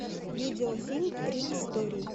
видеофильм три истории